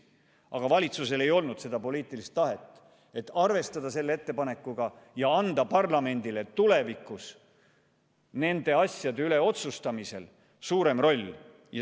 Aga valitsusel ei olnud seda poliitilist tahet, et arvestada seda ettepanekut ja anda parlamendile tulevikus nende asjade üle otsustamisel suurem roll.